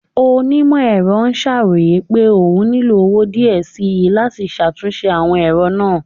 Onimọ-ẹrọ ṣaroye pe oún nilo owo diẹ síí lati ṣatunṣe awọn ẹrọ naa